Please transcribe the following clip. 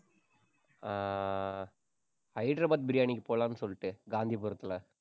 ஆஹ் Hyderabad biryani க்கு போலாம்னு சொல்லிட்டு, காந்திபுரத்துல